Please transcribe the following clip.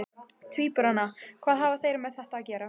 Tvíburana, hvað hafa þeir með þetta að gera?